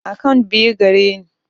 Akant biyu ke gareni